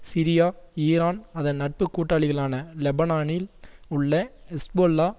Syria Iran அதன் நட்பு கூட்டாளிகளான லெபனானில் உள்ள ஹெஸ்போல்லா